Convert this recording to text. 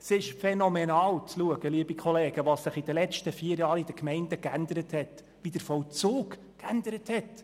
Es ist phänomenal zu sehen, wie sich der Vollzug in den Gemeinden während den letzten vier Jahren unter demselben Gesetz geändert hat.